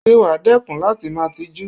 Ṣé wàá dẹ́kun láti máa tijú?